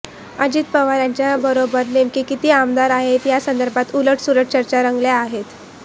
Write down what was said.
अजित पवार यांच्याबरोबर नेमके किती आमदार आहेत यासंदर्भात उलटसुलट चर्चा रंगल्या आहेत